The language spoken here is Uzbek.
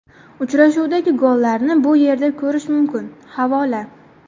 Uchrashuvdagi gollarni bu yerda ko‘rish mumkin → havola .